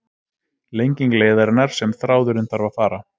Lenging leiðarinnar sem þráðurinn þarf að fara